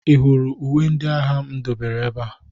Ị hụrụ uwe ndị agha m dobere ebe a?